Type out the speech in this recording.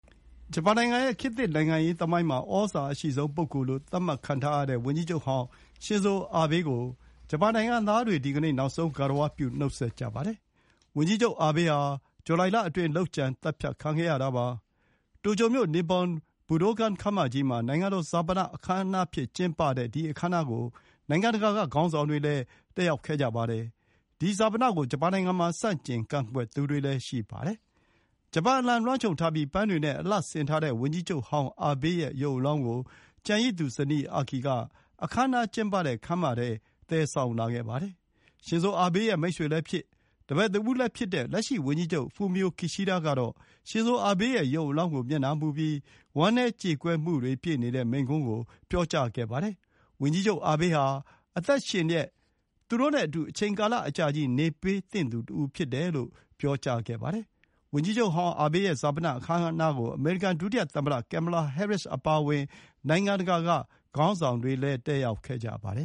ဂျပန်နိုင်ငံရဲ့ ခေတ်သစ် နိုင်ငံရေးသမိုင်းမှာ သြဇာအရှိဆုံးပုဂ္ဂိုလ်လို့သတ်မှတ်ခံထားရတဲ့ ဝန်ကြီးချုပ်ဟောင်း ရှင်ဇိုအာဘေးကို ဂျပန်ုနိင်ငံသားတွေ ဒီကနေ့ နောက်ဆုံးဂါရဝပြု နှုတ်ဆက်ကြပါတယ်။ ဝန်ကြီးချုပ်အာဘေးဟာ ဇူလိုင်လအတွင်း လုပ်ကြံသတ်ဖြတ်ခံခဲ့ရတာပါ။ တိုကျိုမြို့၊ Nippon Budokan ခမ်းမကြီးမှာနိုင်ငံတော်ဈာပနအခမ်းအနားအဖြစ်ကျင်းပတဲ့ ဒီအခမ်းအနားကို နိုင်ငံတကာက ခေါင်းဆောင်တွေလည်း တက်ရောက်ကြပါတယ်။ ဒီဈာပနကို ဂျပန်နိုင်ငံမှာ ဆန့်ကျင်ကန့်ကွက် သူတွေလည်း ရှိနေပါတယ်။ ဂျပန်အလံလွှမ်းခြုံထားပြီး ပန်းတွေနဲ့အလှဆင်ထားတဲ့ ဝန်ကြီးချုပ်ဟောင်းအာဘေးရဲ့ရုပ်အလောင်းကို ကျန်ရစ်သူ ဇနီး Akie က အခမ်းအနားကျင်းပတဲ့ ခန်းမထဲသယ်ဆောင်လာခဲ့ပါတယ်။ ရှင်ဇိုအာဘေးရဲ့ မိတ်ဆွေလည်းဖြစ်၊ တပည့်တဦးလိုလည်းဖြစ်တဲ့ လက်ရှိဂျပန်ဝန်ကြီးချုပ် Fumio Kishida ကတော့ ရှင်ဇိုအာဘေးရဲ့ ရုပ်အလောင်းကို မျက်နှာမူပြီး ဝမ်းနည်းကြေကွဲမှုတွေနဲ့ပြည့်နေတဲ့မိန့်ခွန်းကို ပြောကြားခဲ့တာမှာ - ဝန်ကြီးချုပ်အာဘေးဟာ အသက်ရှင်လျှက် သူတို့နဲ့အတူ အချိန်ကာလအကြာကြီး နေပေးသင့်သူတဦးဖြစ်တယ်လို့ ပြောကြားခဲ့ပါတယ်။ ဝန်ကြီးချုပ်ဟောင်းအာဘေးရဲ့ဈာပနအခမ်းအနားကို အမေရိကန် ဒုသမ္မတ Kamala Harris အပါအဝင် နိုင်ငံတကာက ခေါင်းဆောင်တွေလည်း တက်ရောက်ခဲ့ကြပါတယ